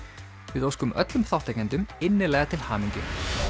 við óskum öllum þátttakendum innilega til hamingju